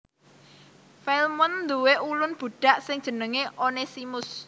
Filemon nduwé ulun budhak sing jenengé Onesimus